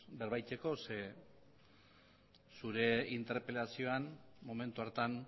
berba egiteko zeren eta zure interpelazioan momentu hartan